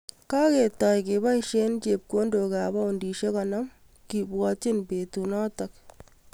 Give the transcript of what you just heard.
Kaketaai kepaisie chepkoondok ap paundisiek konom , kebwaatchi peetuut nootok